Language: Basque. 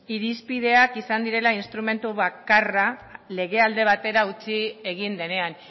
irizpideak izan direla instrumentu bakarra legea alde batera utzi egin denean